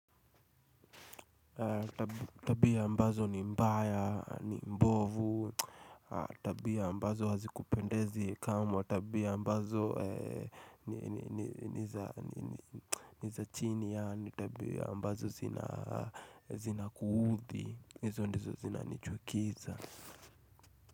Tabia ambazo ni mbaya, ni mbovu Tabia ambazo hazikupendezi kamwa Tabia ambazo ni za chini yaani Tabia ambazo zina kuudhi Izo ndizo zina nichukiza.